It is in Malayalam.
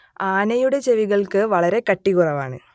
ആനയുടെ ചെവികൾക്ക് വളരെ കട്ടികുറവാണ്